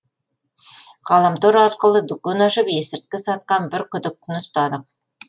ғаламтор арқылы дүкен ашып есірткі сатқан бір күдіктіні ұстадық